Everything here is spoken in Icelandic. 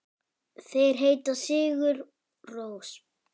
Þeir heita Sigur Rós.